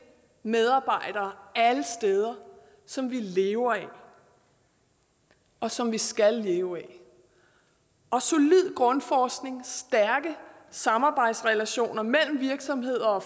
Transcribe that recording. medarbejdere alle steder som vi lever af og som vi skal leve af og solid grundforskning stærke samarbejdsrelationer mellem virksomheder og